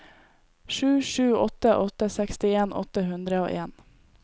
sju sju åtte åtte sekstien åtte hundre og en